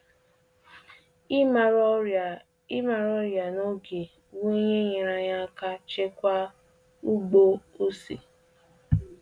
Nchọpụta nke ọrịa ahụ n'oge nyeere anyị aka zọpụta um ubi ose ahụ pụọ n'ilaniiyi um kpamkpam.